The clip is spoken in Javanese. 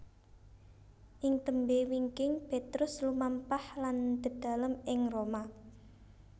Ing tembé wingking Petrus lumampah lan dedalem ing Roma